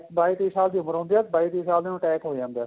ਬਾਈ ਤੇਈ ਦੀ ਉਮਰ ਹੁੰਦੀ ਏ ਬਾਈ ਤੇਈ ਸਾਲ ਦੇ ਨੂੰ attack ਹੋ ਜਾਂਦਾ